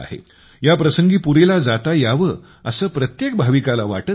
या प्रसंगी पुरीला जाता यावे असे प्रत्येक भाविकाला वाटत असते